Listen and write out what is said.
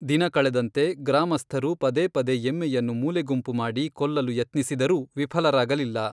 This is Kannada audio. ದಿನ ಕಳೆದಂತೆ, ಗ್ರಾಮಸ್ಥರು ಪದೇ ಪದೇ ಎಮ್ಮೆಯನ್ನು ಮೂಲೆಗುಂಪು ಮಾಡಿ ಕೊಲ್ಲಲು ಯತ್ನಿಸಿದರೂ ವಿಫಲರಾಗಲಿಲ್ಲ.